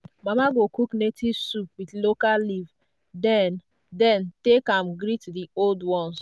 mama go cook native soup with local leaf then then take am greet the old ones.